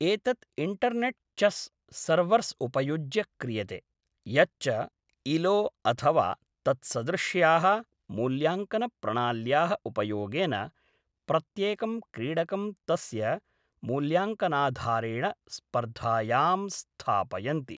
एतत् internet chess servers उपयुज्य क्रियते, यच्च इलो अथवा तत्सदृश्याः मूल्याङ्कनप्रणाल्याः उपयोगेन, प्रत्येकं क्रीडकं तस्य मूल्याङकनाधारेण स्पर्धायां स्थापयन्ति।